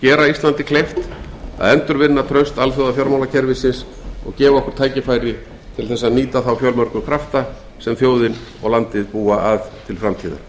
gera íslandi kleift að endurvinna traust alþjóðafjármálakerfisins og gefa okkur tækifæri til þess að nýta þá miklu krafta sem þjóðin og landið búa að til framtíðar